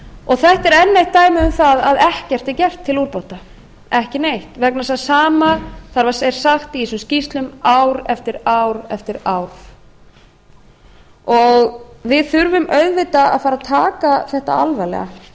og þetta er enn eitt dæmi um að ekkert er gert til úrbóta ekki neitt vegna þess að það sama er sagt í þessum skýrslum ár eftir ár eftir ár við þurfum auðvitað að fara að taka þetta alvarlega